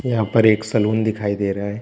यहाँ पर एक सलून दिखाई दे रहा है।